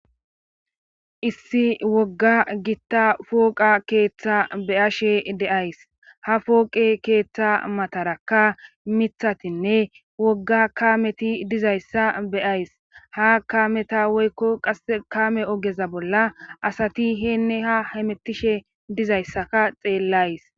Issi wogga gitta fooqa keeththa beyashe deays ha fooqe keeththa matarakka mithatinne wogga kameti dizayssa beyays ha kameta woykko qas kame ogeza bolla asati heenne ha hamettishe dizayssaka xeellays